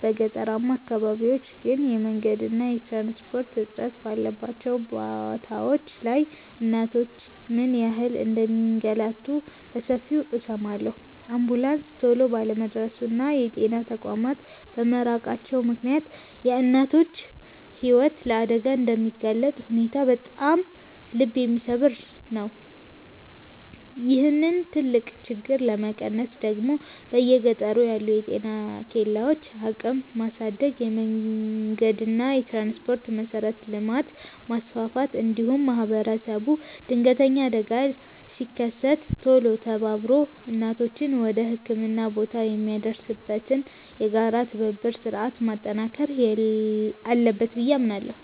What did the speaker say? በገጠራማ አካባቢዎች ግን የመንገድና የትራንስፖርት እጥረት ባለባቸው ቦታዎች ላይ እናቶች ምን ያህል እንደሚንገላቱ በሰፊው እሰማለሁ። አምቡላንስ ቶሎ ባለመድረሱና የጤና ተቋማት በመራቃቸው ምክንያት የእናቶች ሕይወት ለአደጋ የሚጋለጥበት ሁኔታ በጣም ልብ የሚሰብር ነው። ይህንን ትልቅ ችግር ለመቀነስ ደግሞ በየገጠሩ ያሉ የጤና ኬላዎችን አቅም ማሳደግ፣ የመንገድና የትራንስፖርት መሠረተ ልማትን ማስፋፋት፣ እንዲሁም ማኅበረሰቡ ድንገተኛ አደጋ ሲከሰት ቶሎ ተባብሮ እናቶችን ወደ ሕክምና ቦታ የሚያደርስበትን የጋራ የትብብር ሥርዓት ማጠናከር አለበት ብዬ አምናለሁ።